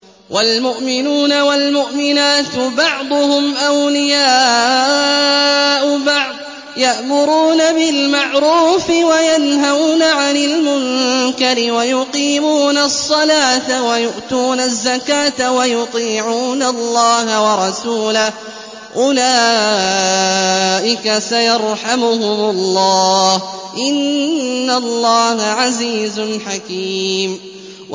وَالْمُؤْمِنُونَ وَالْمُؤْمِنَاتُ بَعْضُهُمْ أَوْلِيَاءُ بَعْضٍ ۚ يَأْمُرُونَ بِالْمَعْرُوفِ وَيَنْهَوْنَ عَنِ الْمُنكَرِ وَيُقِيمُونَ الصَّلَاةَ وَيُؤْتُونَ الزَّكَاةَ وَيُطِيعُونَ اللَّهَ وَرَسُولَهُ ۚ أُولَٰئِكَ سَيَرْحَمُهُمُ اللَّهُ ۗ إِنَّ اللَّهَ عَزِيزٌ حَكِيمٌ